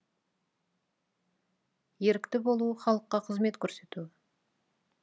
ерікті болу халыққа қызмет көрсету